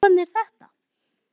Gaf hann þér þetta?